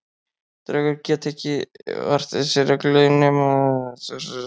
Draugar gera ekki vart við sig reglulega í einhverju tilteknu orsakasamhengi.